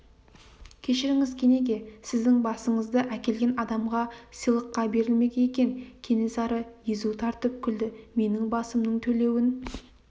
кешіріңіз кенеке сіздің басыңызды әкелген адамға сыйлыққа берілмек екен кенесары езу тартып күлді менің басымның төлеуін